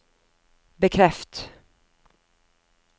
bekreft